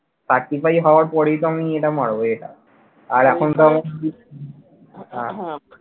Certify হওয়ার পরেই তো আমি এটা মারব এটা আর এখন